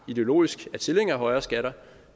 ideologisk er tilhængere af højere skatter